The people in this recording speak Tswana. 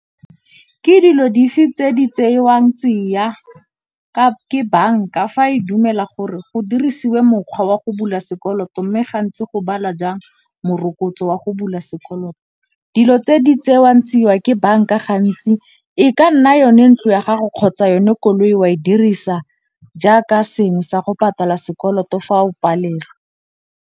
Ke dilo dife tse di tseiwang tsia ke banka fa e dumela gore go dirisiwe mokgwa wa go bula sekoloto, mme gantsi go bala jang morokotso wa go bula sekoloto. Dilo tse di tseiwang tsiwa ke banka gantsi e ka nna yone ntlo ya gago kgotsa yone koloi wa e dirisa jaaka sengwe sa go patala sekoloto fa o palelwa.